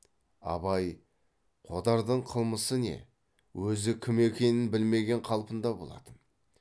абай қодардың қылмысы не өзі кім екенін білмеген қалпында болатын